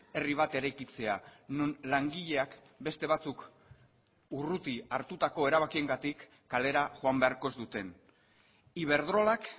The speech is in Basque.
herri bat eraikitzea non langileak beste batzuk urruti hartutako erabakiengatik kalera joan beharko ez duten iberdrolak